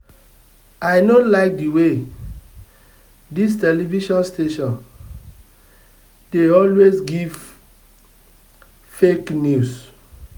i no like the way dis television station dey always give fake news